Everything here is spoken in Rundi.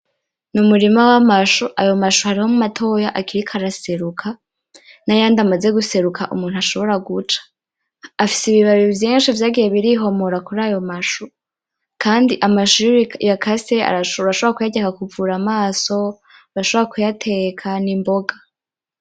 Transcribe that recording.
Numurima wamashu ayo mashu harimwo matoya akiriko araseruke nayandi amaze guseruka umuntu ashobora guca, afise ibibabi vynshi vaygiye birihomora kurayo mashu kandi amashu iyuyakase urashobora kuyarya akakuvura amaso, urashobora kuyateka nimboga.